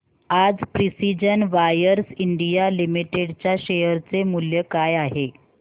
आज Precision Wires India Limited च्या share चे मूल्य काय आहे